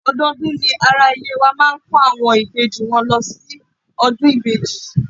Odọọdún ni ara ilé wa máa ń kó àwọn ìbejì wọn lọ síbi ọdún ìbejì.